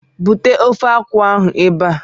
Bute ofe akwụ ahụ ebe a!